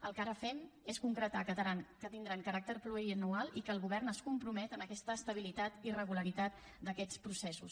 el que ara fem és concretar que tindran caràcter pluriennal i que el govern es compromet amb aquesta estabilitat i regularitat d’aquests processos